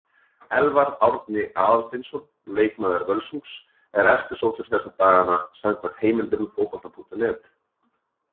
Elfar Árni Aðalsteinsson, leikmaður Völsungs, er eftirsóttur þessa dagana samkvæmt heimildum Fótbolta.net.